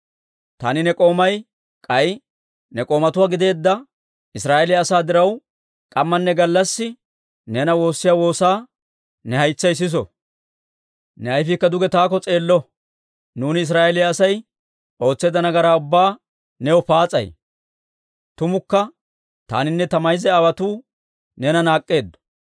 taani ne k'oomay k'ay ne k'oomatuwaa gideedda Israa'eeliyaa asaa diraw k'ammanne gallassi neena woossiyaa woosaa ne haytsay siso; ne ayfiikka duge taakko s'eello. Nuuni Israa'eeliyaa Asay ootseedda nagaraa ubbaa new paas'ay; tumukka taaninne ta mayza aawotuu neena naak'k'eeddo.